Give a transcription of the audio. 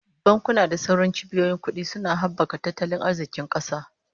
Bankuna da sauran cibiyoyin kudi suna habaka tattalin arzikin kasa